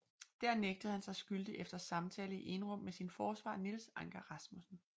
Dér nægtede han sig skyldig efter samtale i enrum med sin forsvarer Niels Anker Rasmussen